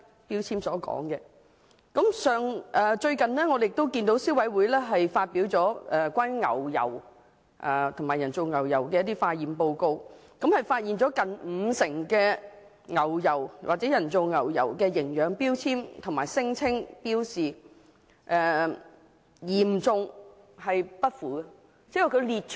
消費者委員會最近亦發表了關於牛油及人造牛油的成分化驗報告，顯示有接近五成牛油或人造牛油的營養標籤和標示，存在嚴重失實的問題。